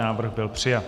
Návrh byl přijat.